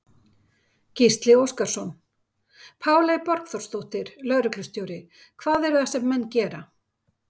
Gísli Óskarsson: Páley Borgþórsdóttir, lögreglustjóri, hvað er það sem menn gera?